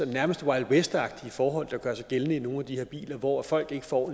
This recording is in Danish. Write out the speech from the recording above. nærmest wild west agtige forhold der gør sig gældende i nogle af de her biler hvor folk ikke får